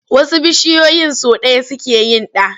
Wasu bishiyoyin sau ɗaya suke yin ɗa.